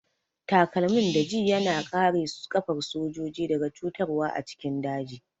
Takalmin daji ya na kare ƙafar sojoji daga cutarwa a cikin daji